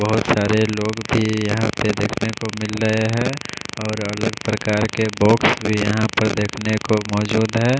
बहोत सारे लोग भी यहां पे देखने को मिले रहें है और अलग प्रकार के बॉक्स भी यहां पर देखने को मौजूद है।